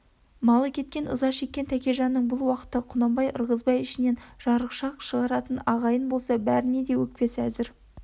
малы кеткен ыза шеккен тәкежанның бұл уақытта құнанбай ырғызбай ішінен жарықшақ шығаратын ағайын болса бәріне де өкпесі әзір